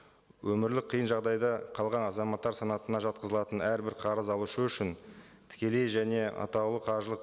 өмірлік қиын жағдайда қалған азаматтар санатына жатқызылатын әрбір қарыз алушы үшін тікелей және атаулы қаржылық